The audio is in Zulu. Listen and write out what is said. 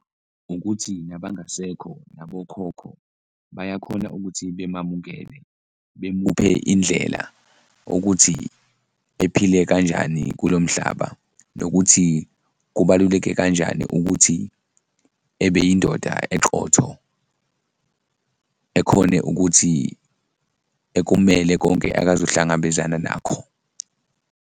Ukuthi nabangasekho nabokhokho bayakhona ukuthi bemamukele, bemuphe indlela ukuthi ephile kanjani kulo mhlaba nokuthi kubaluleke kanjani ukuthi ebe indoda eqotho, ekhone ukuthi ekumele konke akazohlangabezana nakho.